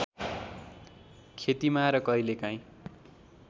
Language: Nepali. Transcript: खेतीमा र कहिलेकाहीँ